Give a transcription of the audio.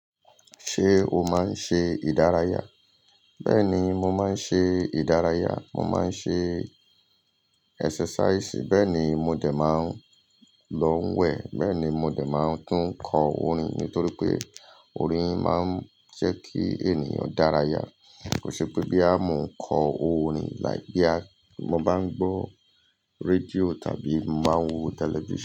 Ṣé o máa ń ṣe ìdárayá? Bẹ́ẹ̀ni, mo máa ń ṣe ere ìdárayá. Mo máa ń ṣe idaraya. Bẹ́ẹ̀ ni, mo dè máa ń lọ wẹ̀. Bẹ́ẹ̀ ni, mo dè máa ń tún kọ orin. Nítorí pé orin máa ń ṣe kí ènìyàn dárayá. Kò ṣe pé bo yà mọ̀ ń kọ orin, sugbon, mo bá ń gbọ́ rédíò tàbí máa ń wo tẹlifísàn.